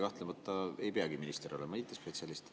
Kahtlemata ei peagi minister olema IT‑spetsialist.